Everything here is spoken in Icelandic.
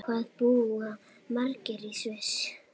Hvað búa margir í Sviss?